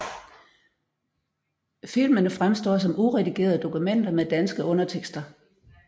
Filmene fremstår som uredigerede dokumenter med danske undertekster